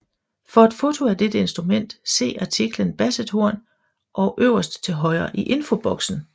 For et foto af dette instrument se artiklen bassethorn øverst til højre i infoboksen